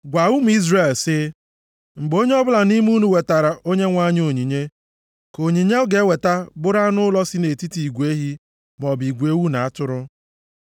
“Gwa ụmụ Izrel sị, ‘Mgbe onye ọbụla nʼime unu wetaara Onyenwe anyị onyinye, ka onyinye ọ ga-eweta bụrụ anụ ụlọ si nʼetiti igwe ehi maọbụ igwe ewu na atụrụ.